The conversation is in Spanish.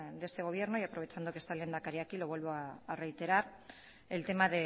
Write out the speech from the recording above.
de este gobierno y aprovechando que está el lehendakari aquí lo vuelvo a reiterar el tema